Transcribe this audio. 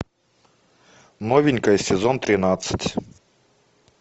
новенькая сезон тринадцать